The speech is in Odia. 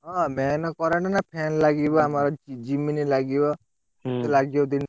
ହଁ main current ନା fan ଲାଗିବ ଆମର ଜିମିନି ଲାଗିବ ଲାଗିବ ।